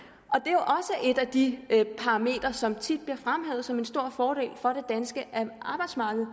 og et af de parametre som tit bliver fremhævet som en stor fordel for det danske arbejdsmarked